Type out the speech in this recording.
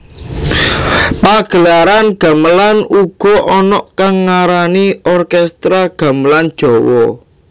Pagelaran gamelan uga ana kang ngarani orkestra gamelan Jawa